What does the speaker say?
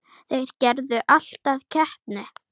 Þeir gerðu allt að keppni.